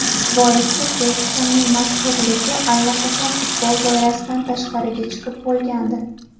Boisi Bekhemning mashhurligi allaqachon futbol doirasidan tashqariga chiqib bo‘lgandi.